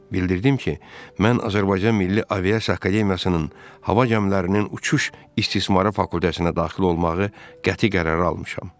Bildirdim ki, mən Azərbaycan Milli Aviasiya Akademiyasının Hava gəmilərinin uçuş istismarı fakültəsinə daxil olmağı qəti qərarı almışam.